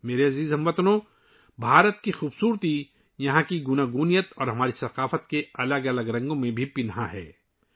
میرے پیارے ہم وطنو، بھارت کی خوبصورتی اس کے تنوع اور ہماری ثقافت کے مختلف رنگوں میں پنہاں ہے